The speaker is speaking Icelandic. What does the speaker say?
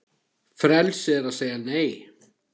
Frelsi er að segja Nei!